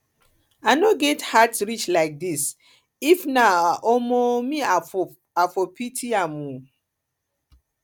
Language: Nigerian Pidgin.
i no get heart reach like this if na um me i for pity am um